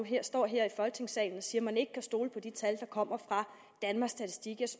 står her i folketingssalen og siger man ikke kan stole på de tal der kommer fra danmarks statistik jeg